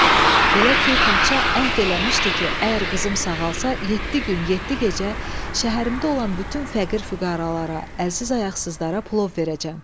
Belə ki, padşah əhd eləmişdi ki, əgər qızım sağalsa, yeddi gün, yeddi gecə şəhərimdə olan bütün fəqir-füqəralara, əlsiz-ayaqsızlara plov verəcəm.